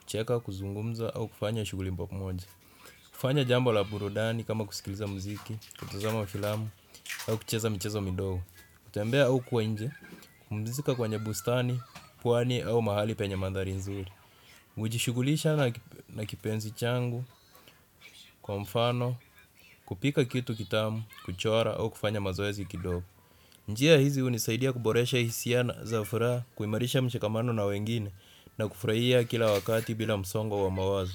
kucheka, kuzungumza au kufanya shughuli pamoja. Kufanya jambo la burudani kama kusikiliza mziki, kutazama filamu au kucheza michezo midogo, kutembea au kuwa inje, kupumzika kwenye bustani, pwani au mahali penye mandari nzuri. Huji shughulisha na kipenzi changu. Kwa mfano kupika kitu kitamu, kuchora au kufanya mazoezi kidogo njia hizi hunisaidia kuboresha hisia za furaha, kuimarisha mshikamano na wengine na kufurahia kila wakati bila msongo wa mawazo.